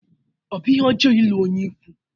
Ọ bụ ihe ọjọọ ịlụ onye ikwu?